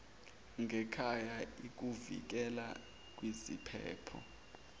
ngekhaya ikuvikela kwiziphepho